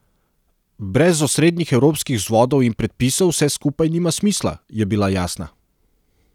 Brez osrednjih evropskih vzvodov in predpisov vse skupaj nima smisla, je bila jasna.